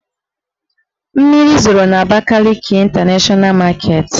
Mmiri zoro n' Abakaliki Ịntanashọna maketi